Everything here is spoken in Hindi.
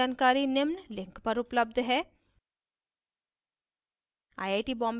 इस mission पर अधिक जानकारी निम्न लिंक पर उपलब्ध है